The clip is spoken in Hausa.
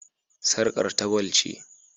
Sarƙar ta gwal ce.